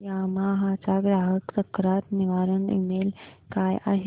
Yamaha चा ग्राहक तक्रार निवारण ईमेल काय आहे